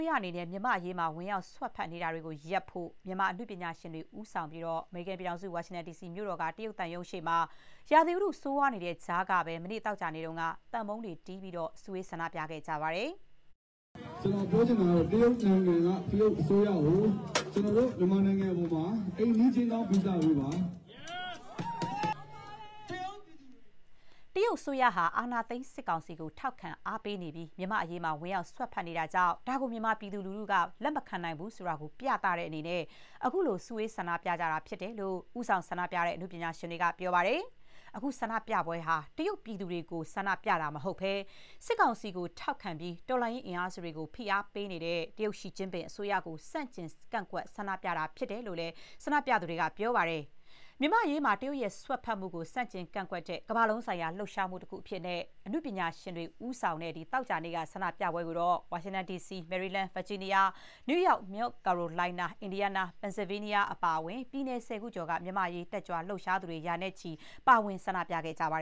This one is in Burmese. းရအနေနဲ့ မြန်မာ့အရေးမှာ ဝင်ရောက် စွက်ဖက်နေတာတွေ ရပ်ဖို့ မြန်မာ အနုပညာရှင်တွေ ဦးဆောင်ပြီး အမေရိကန် ပြည်ထောင်စု ဝါရှင်တန်မြို့တော်က တရုတ်သံရုံးရှေ့မှာ ရာသီဥတု ဆိုးရွားနေတဲ့ကြားကပဲ သောကြာနေ့က သံပုံးတွေတီးပြီး စုဝေး ဆန္ဒပြခဲ့ကြပါတယ်။ တရုတ်အစိုးရဟာ အာဏာသိမ်း စစ်ကောင်စီကို ထောက်ခံ အားပေးနေပြီး မြန်မာ့အရေးမှာ ဝင်ရောက် စွက်ဖက်နေတာကြောင့် ဒါကို မြန်မာပြည်သူလူထုတွေက လက်မခံဘူးဆိုတာကို ပြသတဲ့အနေနဲ့ ခုလို စုဝေး ဆန္ဒပြကြတာ ဖြစ်တယ်လို့ ဦးဆောင်ဆန္ဒပြတဲ့ အနုပညာရှင်တွေက ပြောပါတယ်။ အခုဆန္ဒပြပွဲဟာ တရုတ်ပြည်သူတွေကို ဆန္ဒပြတာ မဟုတ်ဘဲ မြန်မာစစ်ကောင်စီကို ထောက်ခံပြီး တော်လှန်ရေးအင်အားစုတွေကို ဖိအားပေးနေတဲ့ တရုတ် ရှီကျင်းပင် အစိုးရကို ဆန့်ကျင် ဆန္ဒပြတာ ဖြစ်တယ်လို့လည်း ဆန္ဒပြသူတွေက ပြောပါတယ်။ မြန်မာ့အရေးမှာ တရုတ်ရဲ့ စွက်ဖက်မှုကို ဆန့်ကျင် ကန့်ကွက်တဲ့ ကမ္ဘာလုံးဆိုင်ရာ လှုပ်ရှားမှု တခုအဖြစ် အနုပညာရှင်တွေ ဦးဆောင်တဲ့ သောကြာနေ့က ဆန္ဒပြပွဲကို ဝါရှင်တန်ဒီစီ၊ မေရီလန်း၊ ဗာဂျီးနီးယား၊ နယူးယောက်၊ မြောက်ကာရိုလိုင်းနား၊ အင်ဒီယားနား၊ ပင်န်ဆဲဗေးနီးယား အပါအဝင် ပြည်နယ် ၁၀ ခုကျော်က မြန်မာ့အရေး လှုပ်ရှားသူတွေ ရာနဲ့ချီ ပါဝင် ဆန္ဒပြခဲ့ပါ